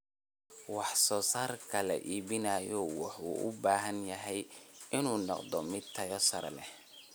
Wax soo saarka la iibinayo wuxuu u baahan yahay inuu noqdo mid tayo sare leh.